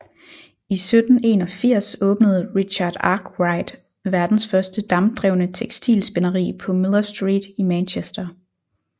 I 1781 åbnede Richard Arkwright verdens første dampdrevne tekstilspinderi på Miller Street i Manchester